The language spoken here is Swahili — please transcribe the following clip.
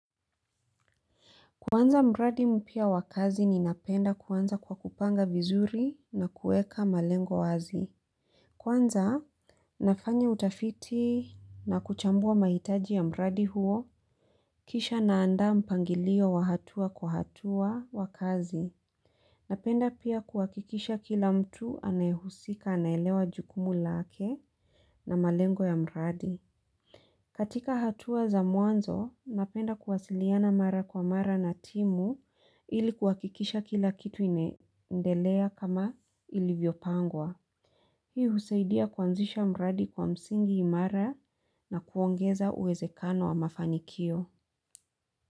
Kwanza mradi mpia wakazi ni napenda kwanza kwa kupanga vizuri na kueka malengo wazi. Kwanza nafanya utafiti na kuchambua mahitaji ya mradi huo kisha naanda mpangilio wahatua kwa hatua wakazi. Napenda pia kuhakikisha kila mtu anayehusika anaelewa jukumu lake na malengo ya mradi. Katika hatua za mwanzo, napenda kuwasiliana mara kwa mara na timu ilikuwakikisha kila kitu imeendelea kama ilivyopangwa. Hiu husaidia kuanzisha mradi kwa msingi imara na kuongeza uwezekano wa mafanikio.